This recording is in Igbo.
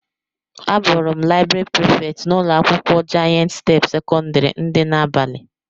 Abuuru m laịbrị Prịfèkt n'ụlọ akwụkwọ Jayent step sekọndrị dị n'abalị.